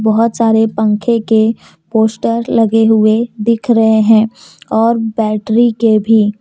बहोत सारे पंखे के पोस्टर लगे हुए दिख रहे हैं और बैटरी के भी --